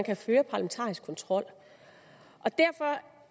at føre parlamentarisk kontrol derfor